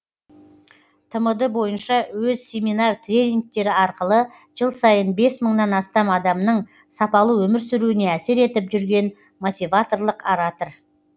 тмд бойынша өз семинар тренингтері арқылы жыл сайын бес мыңнан астам адамның сапалы өмір сүруіне әсер етіп жүрген мотиваторлық оратор